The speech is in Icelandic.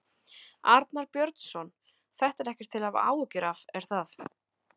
Arnar Björnsson: Þetta er ekkert til að hafa áhyggjur af, er það?